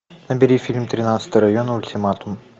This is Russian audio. набери фильм тринадцатый район ультиматум